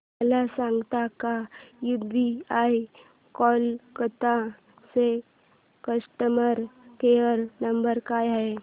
मला सांगता का यूबीआय कोलकता चा कस्टमर केयर नंबर काय आहे